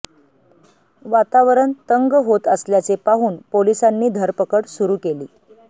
वातावरण तंग होत असल्याचे पाहून पोलिसांनी धरपकड सुरू केली